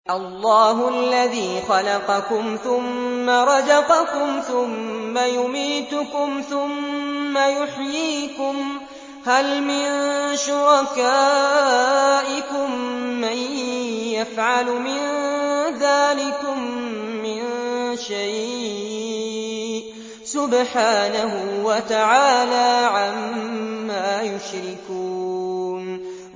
اللَّهُ الَّذِي خَلَقَكُمْ ثُمَّ رَزَقَكُمْ ثُمَّ يُمِيتُكُمْ ثُمَّ يُحْيِيكُمْ ۖ هَلْ مِن شُرَكَائِكُم مَّن يَفْعَلُ مِن ذَٰلِكُم مِّن شَيْءٍ ۚ سُبْحَانَهُ وَتَعَالَىٰ عَمَّا يُشْرِكُونَ